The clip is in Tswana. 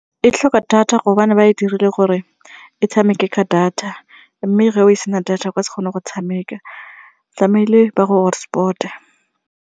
E tlhoka data gobane ba e dirile gore e tshameke ka data mme ga o sena data o ka se kgone go e tshameka tlamile ba go hotspot-e.